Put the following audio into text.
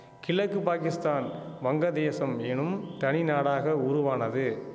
கிழக்கு பாகிஸ்தான் வங்கதேசம் எனும் தனி நாடாக உருவானது